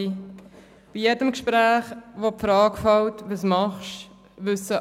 Bei jedem Gespräch, wo die Frage fällt, «Was machst du?